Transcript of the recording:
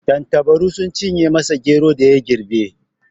Tattabaru sun cinye masa geron da ya girbe.